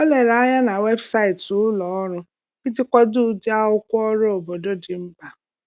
O lere anya na webụsaịtị ulọọrụ iji kwado ụdịakwụkwọ ọrụ obodo dị mkpa.